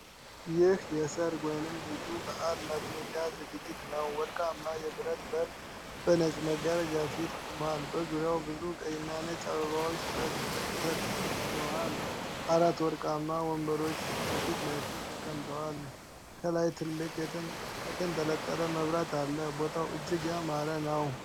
ይህ የሠርግ ወይም ልዩ በዓል ማድመቂያ ዝግጅት ነው። ወርቃማ የብረት በር በነጭ መጋረጃ ፊት ቆሟል። በዙሪያው ብዙ ቀይ እና ነጭ አበባዎች ተጠምጥመዋል። አራት ወርቃማ ወንበሮች በፊት ለፊት ተቀምጠዋል። ከላይ ትልቅ የተንጠለጠለ መብራት አለ። ቦታው እጅግ ያማረ ነው።